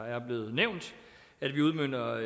er blevet nævnt at vi udmønter